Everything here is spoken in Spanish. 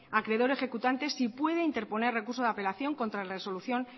acreedor ejecutante sí puede interponer recurso de apelación contra resolución